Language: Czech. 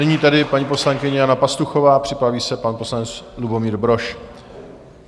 Nyní tedy paní poslankyně Jana Pastuchová a připraví se pan poslanec Lubomír Brož.